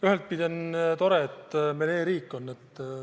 Ühtpidi on tore, et meil on e-riik.